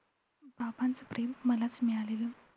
एवढं का नाही माहिती मी एवढा अभ्यास केला नाही याच्याबद्दल पण